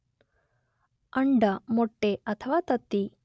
ಅಂಡ ಮೊಟ್ಟೆ ಅಥವಾ ತತ್ತಿ.